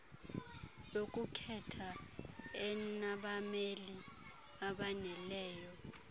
yokukhetha enabameli abaneleyo